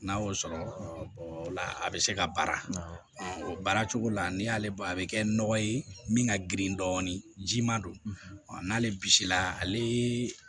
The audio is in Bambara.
N'a y'o sɔrɔ o la a bɛ se ka baara o baara cogo la n'i y'ale bɔ a bɛ kɛ nɔgɔ ye min ka girin dɔɔnin jiman don ɔ n'ale bisila ale